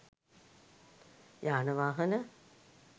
යාන වාහන